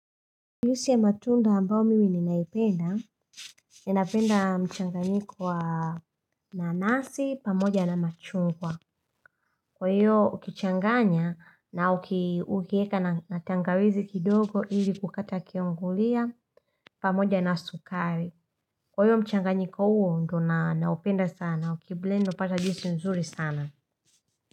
Juizi ya matunda ambao mimi ninaipenda, ninapenda mchanganyiko wa nanasi, pamoja na machungwa. Kwa hiyo ukichanganya na ukieka na tangawizi kidogo ili kukata kiongulia, pamoja na sukari. Kwa hiyo mchanganyiko uo ndo naupenda sana, ukiblendi utapata jiusi nzuri sana.